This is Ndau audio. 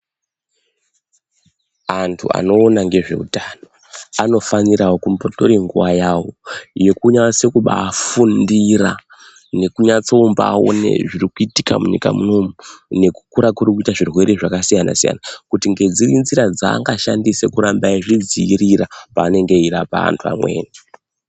Anthu anoona ngezveutano anofanirao kumbotore nguwa yao yekunyasa kubaafundira nekunyatso mbaona zviri kuitika munyika munomu nekukura kuri kuita zvirwere zvakasiyana siyana kuti ngedziri nzira dzaangashandise kuramba eizvidziirira paanenge eirapa anthu amweni.